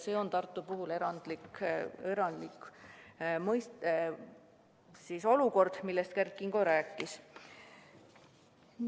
See on Tartu puhul erandlik olukord, millest Kert Kingo rääkis.